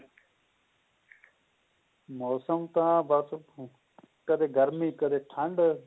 ਮੋਸਮ ਤਾਂ ਬਸ ਕਦੇ ਗਰਮੀ ਕਦੇ ਗਰਮੀ ਕਦੇ ਠੰਡ